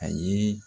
A ye